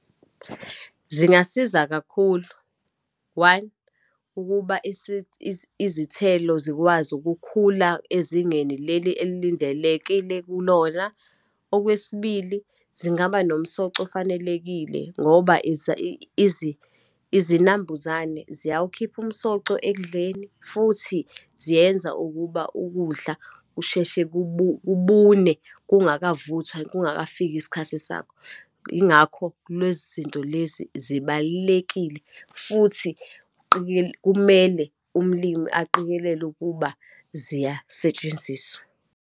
Zingasiza kakhulu. One, ukuba izithelo zikwazi ukukhula ezingeni leli elindelekile kulona. Okwesibili, zingaba nomsoco ofanelekile, ngoba izinambuzane ziyawukhipha umsoco ekudleni, futhi ziyenza ukuba ukudla kusheshe kubune kungakavuthwa, kungakafiki isikhathi sakho. Yingakho, lwezi zinto lezi zibalulekile, futhi kumele umlimi aqikelele ukuba ziyasetshenziswa.